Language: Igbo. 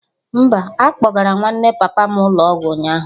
Mba, akpọgara nwanne papa m ụlọ ọgwụ ụnyaahụ